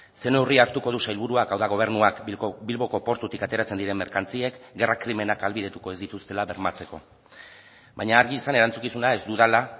zer neurri hartuko du sailburuak hau da gobernuak bilboko portutik ateratzen diren merkantziek gerra krimenak ahalbidetuko ez dituztela bermatzeko baina argi izan erantzukizuna ez dudala